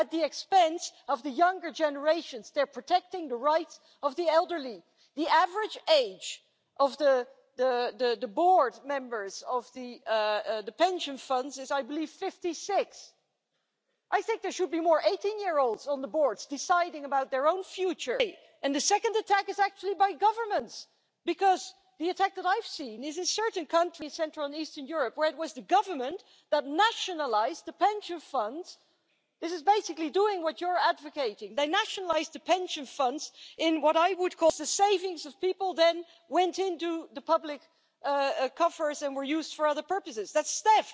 dass die Verbraucherinnen und Verbraucher wieder das herausbekommen, was sie einbezahlt haben, und gleichzeitig wird der Markt für Hedgefonds und Asset Manager geöffnet getreu dem Motto Frohes Zocken mit der Rente. Diese Politik setzt die Menschen den Launen des Kapitalmarkts aus und zwingt sie in der Konsequenz im Alter zum Flaschensammeln. Beenden Sie diese falsche Politik! Arbeiten Sie mit uns an einem Europa des sozialen Schutzes! Streiten Sie mit uns für die Einführung eines europäischen Mindestlohns, einer europäischen Arbeitslosenversicherung und die Stärkung eines auf dem Solidarprinzip beruhenden Rentensystems.